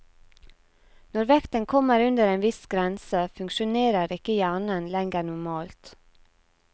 Når vekten kommer under en viss grense, funksjonerer ikke hjernen lenger normalt.